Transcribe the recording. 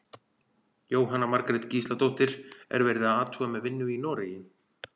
Jóhanna Margrét Gísladóttir: Er verið að athuga með vinnu í Noregi?